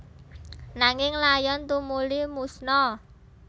Nanging layon tumuli musna